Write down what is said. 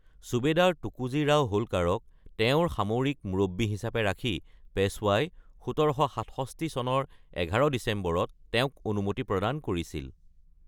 ছুবেদাৰ টুকোজী ৰাও হোলকাৰক তেওঁৰ সামৰিক মুৰব্বী হিচাপে ৰাখি, পেশ্বৱাই ১৭৬৭ চনৰ ১১ ডিচেম্বৰত তেওঁক অনুমতি প্ৰদান কৰিছিল।